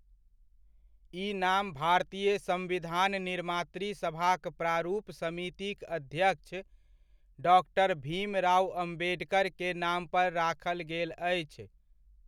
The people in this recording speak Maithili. ई नाम भारतीय सम्विधान निर्मात्री सभाक प्रारूप समितिक अध्यक्ष, डॉक्टर भीमराव अम्बेडकर के नाम पर राखल गेल अछि।